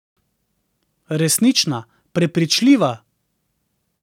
Resnična, prepričljiva.